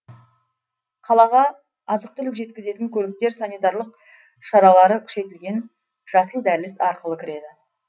қалаға азық түлік жеткізетін көліктер санитарлық шаралары күшейтілген жасыл дәліз арқылы кіреді